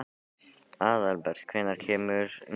Aðalbert, hvenær kemur nían?